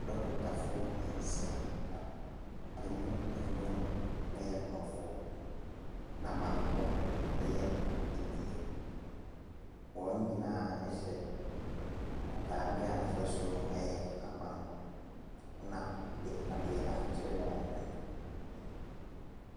Adɔkotafoɔ nsia. Ɛmu nnum yɛ aborɔfo, na baako yɛ bibini. Wɔn nyinaa hyɛ ntadeɛ a n'afasuo no yɛ ahaban mono, na de adeɛ atoto wɔn hwene.